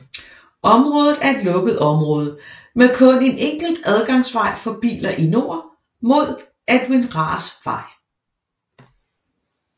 Området er et lukket område med kun en enkelt adgangsvej for biler i nord mod Edwin Rahrs Vej